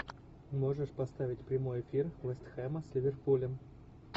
можешь поставить прямой эфир вест хэма с ливерпулем